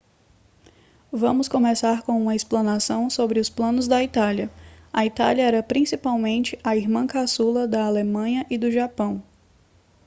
vamos começar com uma explanação sobre os planos da itália a itália era principalmente a irmã caçula da alemanha e do japão